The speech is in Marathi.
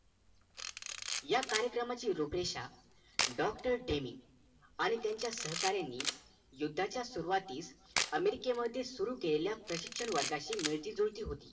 या कार्यक्रमाची रूपरेषा Dr. deny आणि त्यांच्या सहकार्यांनी युद्धाच्या सुरवातीस america मध्ये सुरु केलेलं प्रशिक्षण वर्गाची मिळती जुळती होती